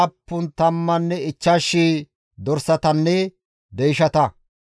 Laappun tammanne nam7u shii miizata,